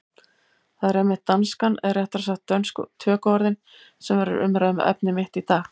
Það er einmitt danskan, eða réttara sagt dönsku tökuorðin, sem verður umræðuefni mitt í dag.